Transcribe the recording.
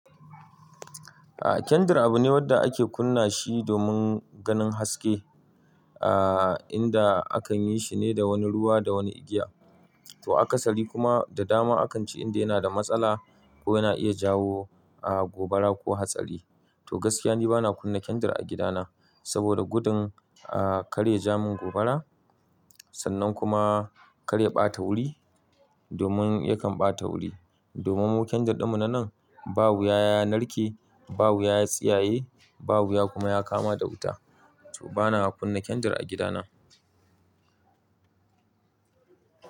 A'a, kyandir abu ne wanda ake kunna shi domin ganin haske, ah inda akan yi shi ne da wani ruwa da wani igiya. To akasari kuma da dama akan ce inda yana da matsala ko yana iya jawo gobara ko hatsari. To gaskiya ni bana kunna kyandir a gidana saboda gudun karya ja mun gobara sannan kuma karya bata wuri domin yakan bata wuri. Domin mu kendir ɗinmu na nan ba wuya ya narke, ba wuya ya tsiyaye, babu ya kuma ya kama da wuta. To bana kunna kyandir a gidana.